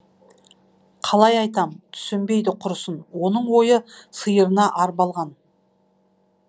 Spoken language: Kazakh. қалай айтам түсінбейді құрысын оның ойы сиырына арбалған